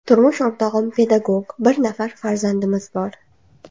Turmush o‘rtog‘im pedagog, bir nafar farzandimiz bor.